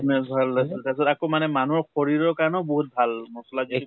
fitness বহুত ভাল আছিলে । তাৰপিছত আকৌ মানে মানুহিৰ শৰীৰৰ কাৰণেও বহুত ভাল মছলা যে